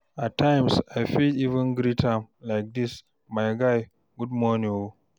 at times I fit even greet am like dis "my guy good morning o"